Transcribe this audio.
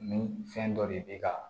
Ni fɛn dɔ de bɛ ka